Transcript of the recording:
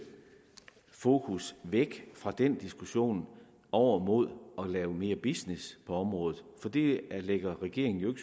fokus væk fra den diskussion over mod at lave mere business på området for det lægger regeringen jo